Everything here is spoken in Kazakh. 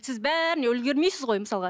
сіз бәріне үлгермейсіз ғой мысалға